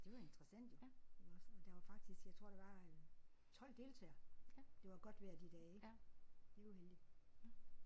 Det var interessant jo iggås og der var faktisk jeg tror der var øh 12 deltagere. Det var godt vejr de dage ik. Det var heldigt